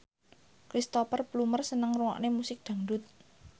Cristhoper Plumer seneng ngrungokne musik dangdut